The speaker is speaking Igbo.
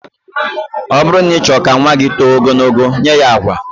Ọ bụrụ na ị chọrọ ka nnwa gị too ogologo, nye ya agwa